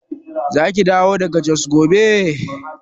Zaki dawo daga Jos gobe?